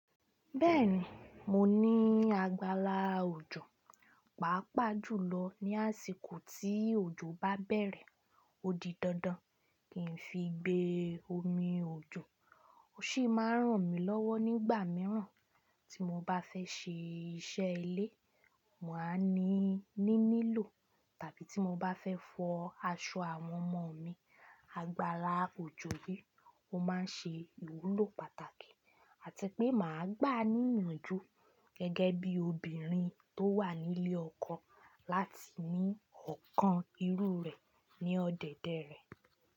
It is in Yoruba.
Bẹ́ẹ̀ni, mo ní agbála òjò, pàápàá jùlọ ní àsìkò tí òjò bá bẹ̀rẹ̀ o di dandan, kì n fi gbé omi òjò, ó sì máa n ràn mí lọ́wọ́ nígbà míràn tí mo bá fẹ́ ṣe iṣẹ́ ilé, màá ní níní lò tàbí tí mo bá fẹ́ fọ aṣọ àwọn ọmọ mi, agbála òjò yìí ó máa ń ṣe ìwúlò pàtàkì. Àti pé màá gbà ní ìyànjú gẹ́gẹ́ bí obìnrin tó wà nílé ọkọ láti ní ọkàn irú rẹ̀ ní ọdẹdẹ rẹ̀.